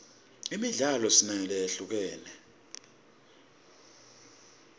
imidlalo sinayo lehlukahlukene